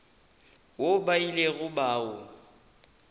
woo ba ilego ba o